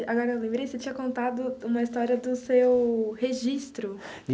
E agora eu lembrei, você tinha contado uma história do seu registro.